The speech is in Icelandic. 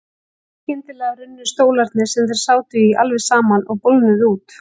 Skyndilega runnu stólarnir sem þeir sátu í alveg saman og bólgnuðu út.